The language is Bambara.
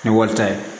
Ni wari ta ye